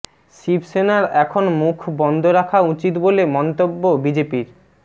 শিবসেনার এখন মুখ বন্ধ রাখা উচিত বলে মন্তব্য বিজেপির